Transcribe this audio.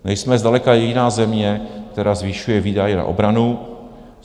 Nejsme zdaleka jediná země, která zvyšuje výdaje na obranu.